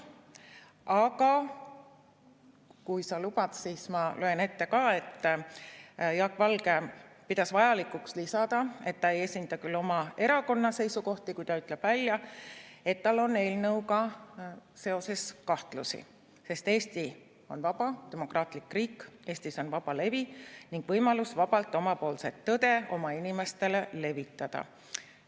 Aga kui sa lubad, siis ma loen ette ka, et Jaak Valge pidas vajalikuks lisada, et ta ei esinda küll oma erakonna seisukohti, kui ta ütleb välja, et tal on eelnõuga seoses kahtlusi, sest Eesti on vaba demokraatlik riik, Eestis on vaba levi ning võimalus vabalt omapoolset tõde oma inimestele levitada.